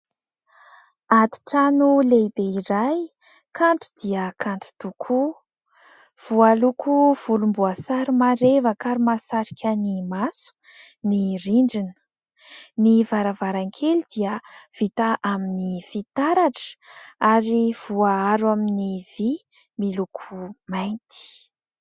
Atitrano lehibe iray kanto dia kanto tokoa, voaloko volomboasary marevaka ary mahasarika ny maso ny rindrina. Ny varavarankely dia vita amin'ny fitaratra ary voaaro amin'ny vy miloko mainty.